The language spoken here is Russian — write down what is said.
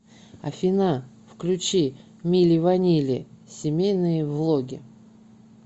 афина включи мили ванили семейные влоги